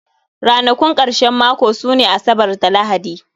Ranakun karshen mako sune Asabar da Lahadi